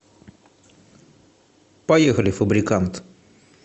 поехали фабрикантъ